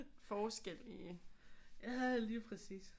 Forskel i